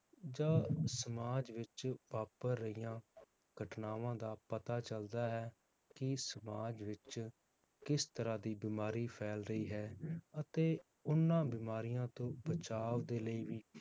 ਜਾਂ ਸਮਾਜ ਵਿਚ ਵਾਪਰ ਰਹੀਆਂ ਘਟਨਾਵਾਂ ਦਾ ਪਤਾ ਚਲਦਾ ਹੈ ਕਿ ਸਮਾਜ ਵਿਚ ਕਿਸ ਤਰਾਹ ਦੀ ਬਿਮਾਰੀ ਫੈਲ ਰਹੀ ਹੈ ਅਤੇ ਉਹਨਾਂ ਬਿਮਾਰੀਆਂ ਤੋਂ ਬਚਾਵ ਦੇ ਲਈ ਵੀ